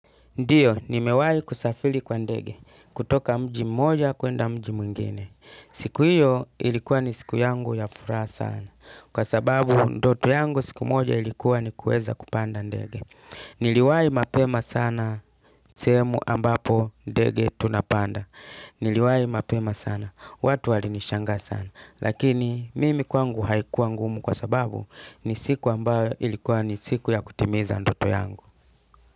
Ndiyo, ni mewai kusafili kwa ndege. Kutoka mji moja kuenda mji mwingine. Siku hiyo ilikuwa ni siku yangu ya furaha sana. Kwa sababu ndoto yangu siku moja ilikuwa ni kuweza kupanda ndege. Niliwai mapema sana sehemu ambapo ndege tunapanda. Niliwai mapema sana. Watu wali nishanga sana. Lakini mimi kwangu haikuwa ngumu kwa sababu ni siku ambayo ilikuwa ni siku ya kutimiza ndoto yangu.